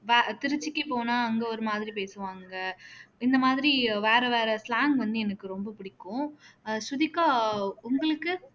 வ திருச்சிக்கு போனா அங்க ஒரு மாதிரி பேசுவாங்க இந்த மாதிரி வேற வேற slang வந்து எனக்கு ரொம்ப பிடிக்கும் அஹ் ஸ்ருதிகா உங்களுக்கு